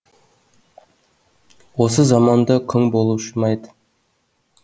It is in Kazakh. осы заманда күң болушы ма еді